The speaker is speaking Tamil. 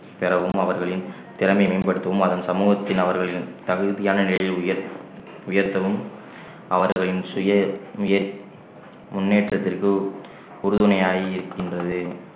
பெறவும் அவர்களின் திறமையை மேம்படுத்தவும் அதன் சமூகத்தின் அவர்களின் தகுதியான நிலையில் உயர்த்~ உயர்த்தவும் அவர்களின் சுய முன்~ முன்னேற்றத்திற்கு உறுதுணையாக இருக்கின்றது